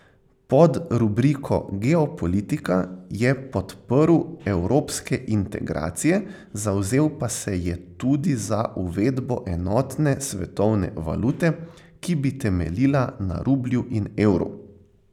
Pod rubriko Geopolitika je podprl evropske integracije, zavzel pa se je tudi za uvedbo enotne svetovne valute, ki bi temeljila na rublju in evru.